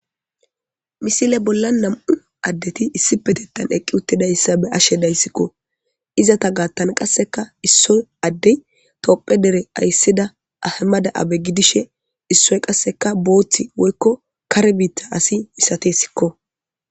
misile bolla nam'u addeti issipetettan eqqi uttidayssa be'ashe dayssikko izata gaattan qasseka issoy addey tophiya dere ayssida ahamada abe gidishe issoy qasseka booththi woykko kare biitta asi misatesko.